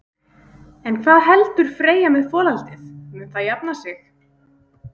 En hvað heldur Freyja með folaldið, mun það jafna sig?